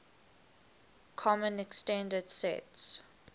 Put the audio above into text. common extended sets